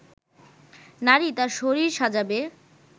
নারী তার শরীর সাজাবে